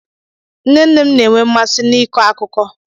Nne nne m na-enwe mmasị n'ịkọ akụkọ.